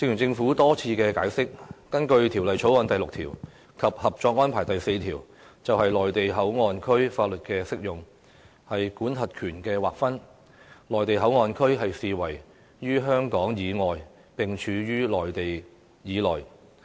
政府多次解釋，根據《條例草案》第6條及《合作安排》第四條就內地口岸區法律適用範圍及管轄權劃分的規定，內地口岸區的範圍，視為處於香港以外並處於內地以內。